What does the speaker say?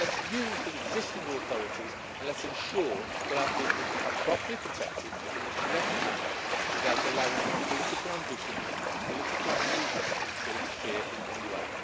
let us use the existing authorities and let us ensure that our people are properly protected in the correct manner without allowing political ambitions and political manoeuvrings to interfere in any way.